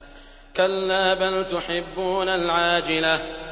كَلَّا بَلْ تُحِبُّونَ الْعَاجِلَةَ